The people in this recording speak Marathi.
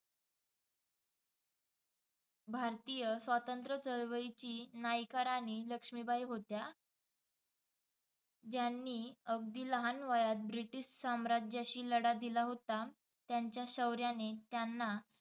भारतीय स्वातंत्र्य चळवळीची नायिका राणी लक्ष्मीबाई होत्या. ज्यांनी अगदी लहान वयात ब्रिटिश सम्राज्याशी लढा दिला होता. त्यांच्या शौर्याने त्यांना